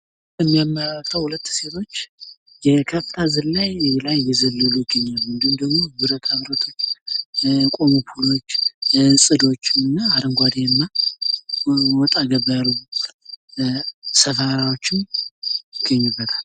ሁለት ሴቶች የከፍታ ዝላይ ላይ እየዘለሉ ይገኛሉ ፤ እንዲሁም ደሞ ብረታ ብረቶች፣ የቆሙ ፖሎች፣ ጽዶች እና አረንጓዴማ ወጣ ገባ ያሉ ሰፈራወችም ይታያሉ።